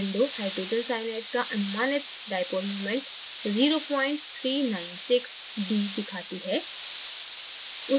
window hydrogen cyanide का अनुमानित dipole मूमेंट0396d दिखाती है